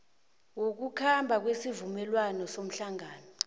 wokukhamba wesivumelwano sehlangano